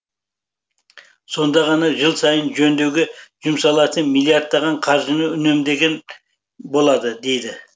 сонда ғана жыл сайын жөндеуге жұмсалатын миллиардтаған қаржыны үнемдеуге болады дейді